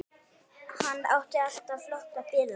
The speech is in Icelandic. Hann átti alltaf flotta bíla.